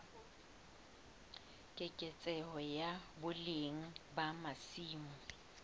keketseho ya boleng ba masimo